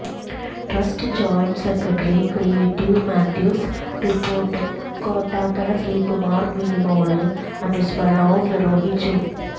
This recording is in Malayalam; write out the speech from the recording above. trust joint secretary creative Mathews റിപ്പോര്ട്ടും കോട്ടാത്തല ശ്രീകുമാര് മിനിമോള് അനുസ്മരണവും നിര്വഹിച്ചു